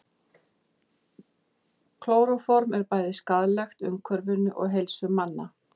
Klóróform er bæði skaðlegt umhverfinu og heilsu manna.